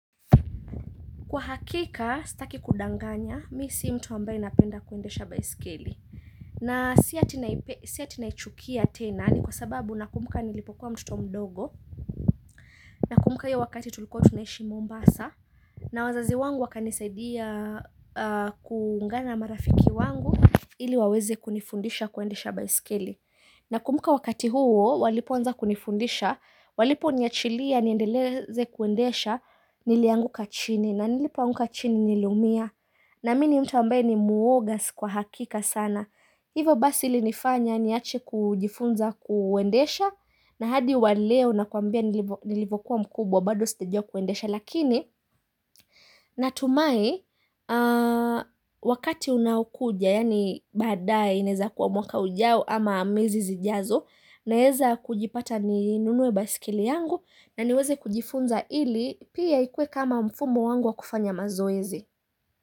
Kwa hakika, staki kudanganya, mi si mtu ambaye napenda kuendesha baiskeli. Na si ati naichukia tena ni kwa sababu nakumbuka nilipokuwa mtoto mdogo nakumuka hiyo wakati tulikuwa tunaishi Mombasa na wazazi wangu wakanisaidia kuungana na marafiki wangu ili waweze kunifundisha kuendesha baiskeli. Nakumbuka wakati huo walipoanza kunifundisha, waliponiachilia niendeleze kuendesha nilianguka chini na nilipoanguka chini niliumia. Naamini mtu ambaye ni muoga si kwa hakika sana. Hivo basi ilinifanya niache kujifunza kuendesha na hadi wa leo nakuambia nilivokuwa mkubwa bado sijajua kuendesha. Lakini natumai wakati unaoukuja yani badae ianeza kuwa mwaka ujao ama miezi zijazo naeza kujipata ninunue baiskeli yangu na niweze kujifunza ili pia ikue kama mfumo wangu wa kufanya mazoezi.